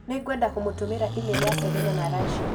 Nĩ ngwenda kũmũtũmĩra e-mail ya Selina na Rashid.